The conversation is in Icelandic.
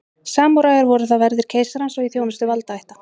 samúræjar voru þá verðir keisarans og í þjónustu valdaætta